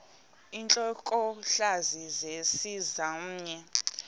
intlokohlaza sesisaz omny